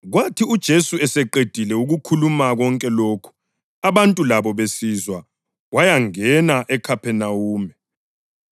Kwathi uJesu eseqedile ukukhuluma konke lokhu abantu labo besizwa wayangena eKhaphenawume.